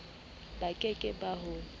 ba ke ke ba ho